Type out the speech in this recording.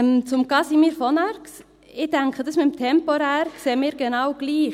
Zu Casimir von Arx: Ich denke, das mit dem temporär, sehen wir genau gleich.